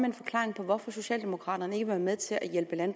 en forklaring på hvorfor socialdemokraterne ikke vil være med til at